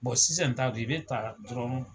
Bon sisan ta dun, i bɛ taa dɔrɔnw